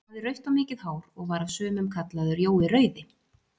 Hann hafði rautt og mikið hár, og var af sumum kallaður Jói rauði.